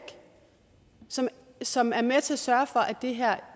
som som er med til at sørge for at det her